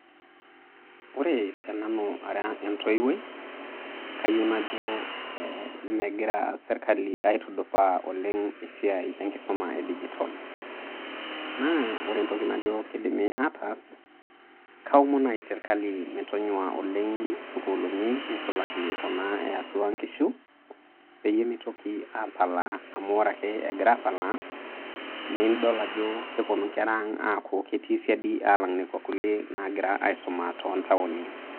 Ore tenanu ara entoiwuoi, kayieu najo eh megira sirkali aitudupaa oleng' esiai enkisuma edijitol. Na ore entoki najo kidimi ataas, kaomon nai sirkali metonyua oleng' sukuuluni neisulaki kuna eatua nkishu, peyie mitoki apalaa amu ore ake egira apalaa, nidol ajo keponu nkera ang' aaku ketii siadi, alang' nekua kulie nagira aisuma to ntaoni.